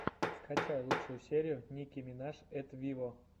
скачай лучшую серию ники минаж эт виво